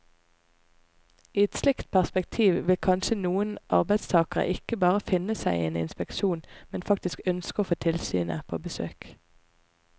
I et slikt perspektiv vil kanskje noen arbeidstagere ikke bare finne seg i en inspeksjon, men faktisk ønske å få tilsynet på besøk.